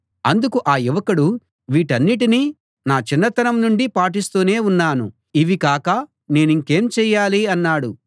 అందుకు ఆ యువకుడు వీటన్నిటినీ నా చిన్నతనం నుండీ పాటిస్తూనే ఉన్నాను ఇవి కాక నేనింకేమి చెయ్యాలి అన్నాడు